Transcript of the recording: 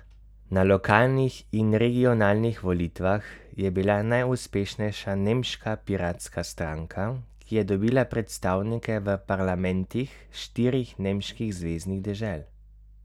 Na lokalnih in regionalnih volitvah je bila najuspešnejša nemška piratska stranka, ki je dobila predstavnike v parlamentih štirih nemških zveznih dežel.